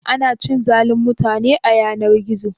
Ana cin zalin mutane a yanar-gizo?